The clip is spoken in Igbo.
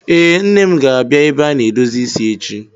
Ee, Nne m ga-abịa ebe a na-edozi isi echi.